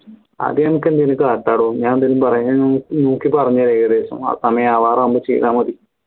അത് നമക്ക് എന്തേലും കാട്ടാടോ ഞാൻ എന്തേലും പറയാ നോക്കി പറഞ്ഞരാ ഏകദേശം ആ സമയം ആവാറാമ്പോ ചെയ്താ മതി